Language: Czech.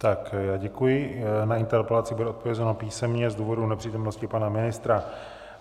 Tak děkuji, na interpelaci bude odpovězeno písemně z důvodu nepřítomnosti pana ministra.